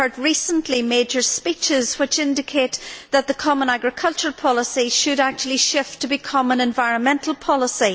I have recently heard major speeches which indicate that the common agricultural policy should actually shift to being an environmental policy.